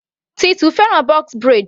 Tutu fẹ́ràn box braid.